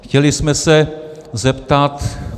Chtěli jsme se zeptat.